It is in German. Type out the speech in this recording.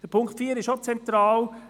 Auch der Punkt 4 ist zentral.